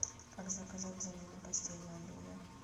как заказать замену постельного белья